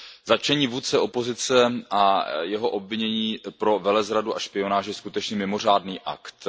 Zatčení vůdce opozice a jeho obvinění pro velezradu a špionáž je skutečně mimořádný akt.